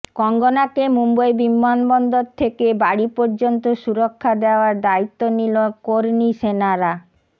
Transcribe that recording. কঙ্গনাকে মুম্বই বিমানবন্দর থেকে বাড়ি পর্যন্ত সুরক্ষা দেওয়ার দায়িত্ব নিল কর্নী সেনারা